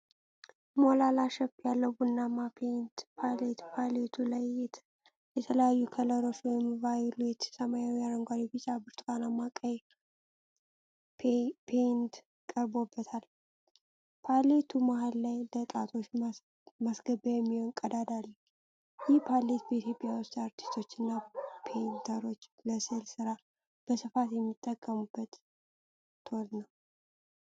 ሞላላ ሼፕ ያለው፣ ቡናማ ፔይንት ፓሌት ፓሌቱ ላይ የተለያዩ ከለሮች (ቫዮሌት፣ ሰማያዊ፣ አረንጓዴ፣ ቢጫ፣ ብርቱካናማና ቀይ) ፔይንት ቀርቦበታል። ፓሌቱ መሀል ላይ ለጣቶች ማስገቢያ የሚሆን ቀዳዳ አለው። ይህ ፓሌት በኢትዮጵያ ውስጥ አርቲስቶችና ፔይንተሮች ለሥዕል ሥራ በስፋት የሚጠቀሙበት ቶል ነው?